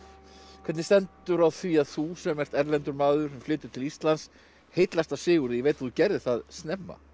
hvernig stendur á því að þú sem ert erlendur maður og flytur til Íslands heillast af Sigurði ég veit þú gerðir það snemma